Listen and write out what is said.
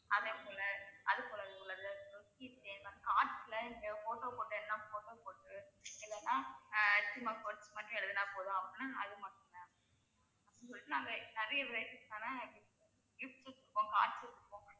அது போல அதுபோல உள்ளது keychain அப்புறம் cards ல இங்க photo போட்டு எழுதினா போதும் அப்படின்னா அது மட்டும். ma'am அப்படின்னு சொல்லிட்டு நாங்க நிறைய varieties ல நாங்க gifts வெச்சுருக்கோம் cards வெச்சுருக்கோம்